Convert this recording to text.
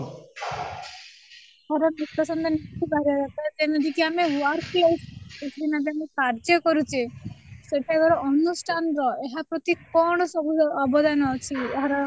ହଁ ନିଷ୍କର୍ଷ ବାହାରିବା ଦରକାର ଯେମିତିକି ଆମେ workplace ମାନେ ଯୋଉଠି ଆମେ କାର୍ଯ୍ୟ କରୁଛେ ସେଇଟା ଅନ୍ୟ stand ର ଏଥିପ୍ରତି କ'ଣ ସବୁ ଅବଦାନ ଅଛି ? ଏହାର